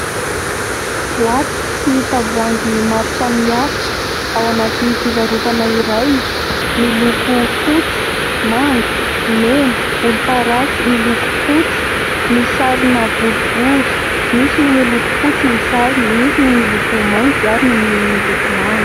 Boaty sy tavoahangy maro samihafa ao anatỳ fivarotana iray. Miloko fotsy, manga, mena volomparasy. Miloko fotsy misarona boribory. Misy ny miloko fotsy ny sarony, misy ny miloko mainty ary ny miloko manga.